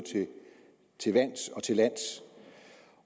til vands